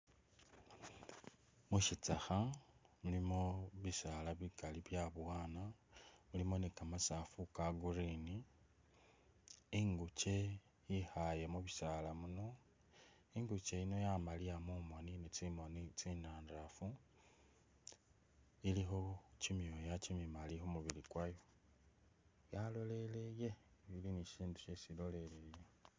Musitsakha mulimo bisaala bikaali byabowana mulimo ni kamasafu ka'green inguche yekhaye mu'bisaala muno inguche yino yamaliya mumoni, tsimoni tsinandafu ilikho chimyoya chimimali khumubili kwayo yaloleleye ili nisisindu shesi iloyelele